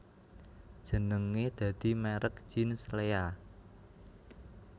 Jenenge dadi merk jeans Lea